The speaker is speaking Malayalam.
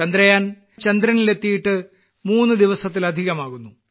ചന്ദ്രയാൻ ചന്ദ്രനിൽ എത്തിയിട്ട് മൂന്ന് ദിവസത്തിലധികം ആകുന്നു